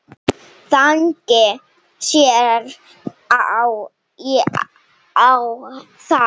Þannig sneri ég á þá.